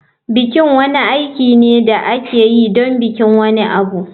Biki wani aiki ne da ake yi don bikin wani abu.